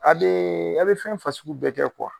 A a bɛ fɛn fasuku bɛɛ kɛ